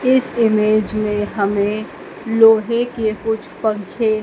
इस इमेज में हमें लोहे के कुछ पंखे--